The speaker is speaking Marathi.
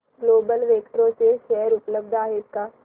ग्लोबल वेक्ट्रा चे शेअर उपलब्ध आहेत का